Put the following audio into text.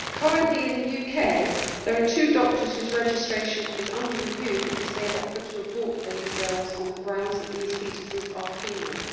Currently in the UK there are two doctors whose registration is under review because they have offered to abort baby girls on the grounds that these foetuses are female.